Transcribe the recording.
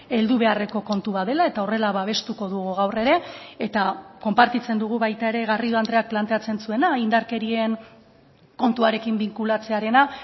heldu beharreko kontu bat dela eta horrela babestuko dugu gaur ere eta konpartitzen dugu baita ere garrido andreak planteatzen zuena indarkerien kontuarekin binkulatzearena